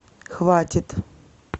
хватит